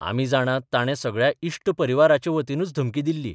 आमी जाणात ताणे सगळ्या इश्ट परिवाराचे वतीनच धमकी दिली.